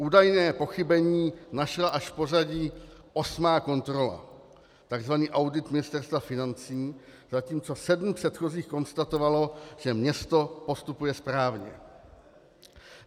Údajné pochybení našla až v pořadí osmá kontrola, tzv. audit Ministerstva financí, zatímco sedm předchozích konstatovalo, že město postupuje správně.